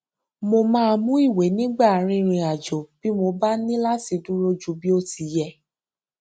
mo máa mú ìwé nígbà rìnrìn àjò bí mo bá ní láti dúró ju bí ó ti yẹ